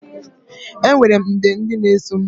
Enwere m nde ndị na-eso m.